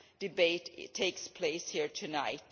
debate is taking place here tonight.